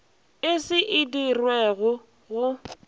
e se e dirwego go